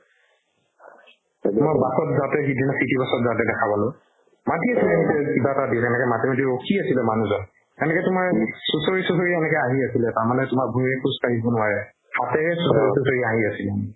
মই bus ত যাওতে সিদিনা city bus ত যাওতে দেখা পালো মাতি আছে কিবা এটা দিলে সেনেকে মাতি মাতি ৰখি আছে ৰে মানুহজন সেনেকে তুমাৰ চুচুৰু সেনেকে আহি আছিলে তাৰ মানে বাও ভৰিৰে খোজ কাড়ীব নোৱাৰে হাতেৰে চুচুৰু চুচুৰু আহি আছিলে মানে